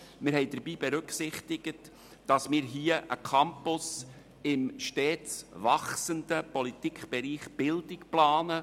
Wir haben dabei berücksichtigt, dass wir hier einen Campus im stets wachsenden Politikbereich der Bildung planen.